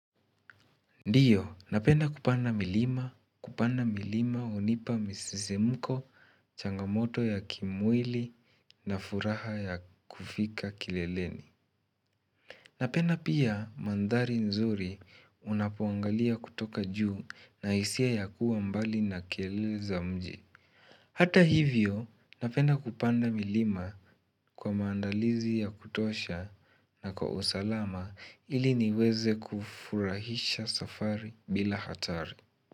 Ndio, napenda kupanda milima, kupanda milima hunipa msisimko, changamoto ya kimwili na furaha ya kufika kileleni. Napenda pia mandhari nzuri unapoangalia kutoka juu na hisia ya kuwa mbali na kelele za mji. Hata hivyo, napenda kupanda milima kwa maandalizi ya kutosha na kwa usalama ili niweze kufurahisha safari bila hatari.